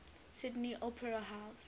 sydney opera house